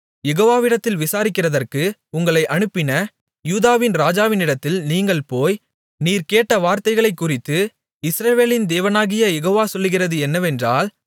யெகோவவிடத்தில் விசாரிக்கிறதற்கு உங்களை அனுப்பின யூதாவின் ராஜாவினிடத்தில் நீங்கள் போய் நீர் கேட்ட வார்த்தைகளைக் குறித்து இஸ்ரவேலின் தேவனாகிய யெகோவ சொல்லுகிறது என்னவென்றால்